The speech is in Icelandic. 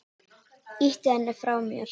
Ýti henni frá mér.